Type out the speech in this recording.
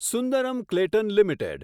Sundaram Clayton limited